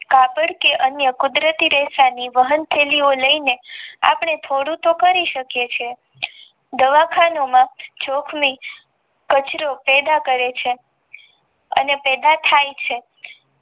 કાગળ કે અન્ય વાહન થેલી લય ને અપડે થોડું તો કરી શકીયે છીએ દવાખાના માં કચરું પેદા કરે છે અને પેદા થાય છે.